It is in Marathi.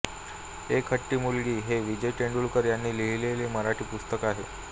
एक हट्टी मुलगी हे विजय तेंडुलकर यांनी लिहिलेले मराठी पुस्तक आहे